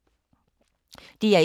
DR1